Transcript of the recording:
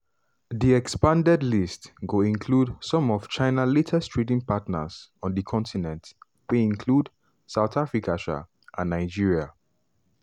di expanded list go include some of china largest trading partners on di continent wey include south africa um and nigeria.